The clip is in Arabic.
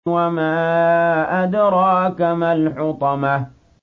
وَمَا أَدْرَاكَ مَا الْحُطَمَةُ